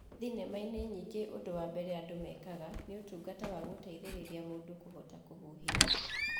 Thinema-inĩ nyingĩ ũndũ wambere andũ mekaga nĩ ũtungata wagũteithĩrĩria mũndũ kũhota kũhihia